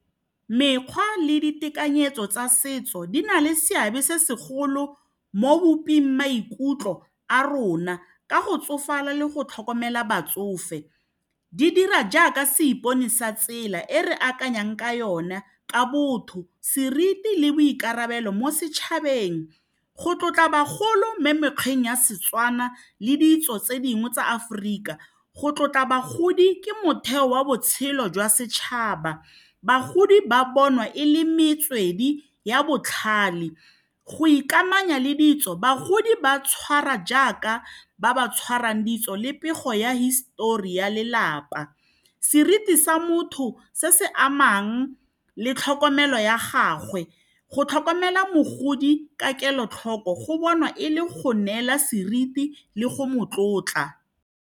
Mekgwa le ditekanyetso tsa setso di na le seabe se segolo mo boping maikutlo a rona ka go tsofala le go tlhokomela batsofe, di dira jaaka seipone sa tsela e re akanyang ka yona ka botho, seriti le boikarabelo mo setšhabeng go tlotla bagolo mo mekgweng ya seTswana le ditso tse dingwe tsa Aforika go tlotla bagodi ke motheo wa botshelo jwa setšhaba bagodi ba bonwa e le metswedi ya botlhale go ikamanya le ditso bagodi ba tshwara jaaka ba ba tshwarwang ditso le pego ya histori ya lelapa seriti sa motho se se amang le tlhokomelo ya gagwe go tlhokomela mogodi ka kelotlhoko go bonwa e le go neela seriti le go motlotla.